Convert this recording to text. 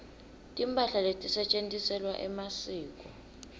timphahla letisetjentiselwa emasiko